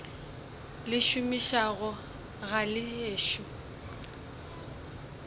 le šomišago ga le ešo